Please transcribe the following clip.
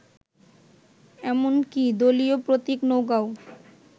এমনকি দলীয় প্রতীক নৌকাও